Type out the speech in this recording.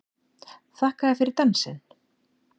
Þakka þér fyrir dansinn!